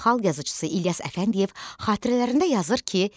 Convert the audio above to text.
Xalq yazıçısı İlyas Əfəndiyev xatirələrində yazır ki: